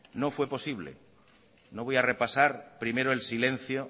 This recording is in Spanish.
no fue posible no voy a repasar primero el silencio